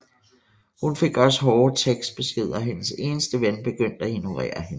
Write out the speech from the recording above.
Hun fik også hårde tekstbeskeder og hendes eneste ven begyndte at ignorere hende